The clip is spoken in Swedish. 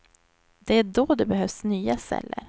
Det är då det behövs nya celler.